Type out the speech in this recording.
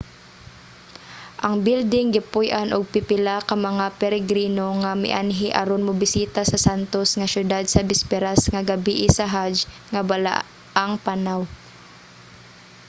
ang bilding gipuy-an og pipila ka mga peregrino nga mianhi aron mobisita sa santos nga syudad sa bisperas sa gabie sa hajj nga balaang panaw